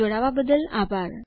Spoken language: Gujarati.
જોડવા બદલ આભાર